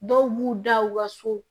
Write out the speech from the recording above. Dɔw b'u da u ka so